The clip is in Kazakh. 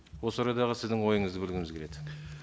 осы орайдағы сіздің ойыңызды білгіміз келеді